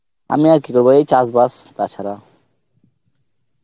আমি আর কি করব চাস বাস, টা ছাড়া